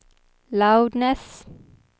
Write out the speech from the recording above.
loudness